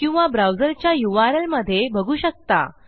किंवा ब्राउझर च्या यूआरएल मधे बघू शकता